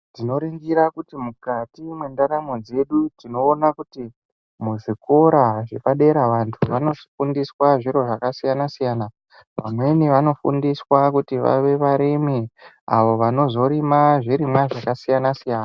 Tinoringira kuti mukati mwendaramo dzedu tinoona kuti muzvikora zvepadera vantu vanofundiswa zviro zvakasiyana siyana. Vamweni vanofundiswa kuti vave varimi avo vanozorima zvirimwa zvakasiyana siyana.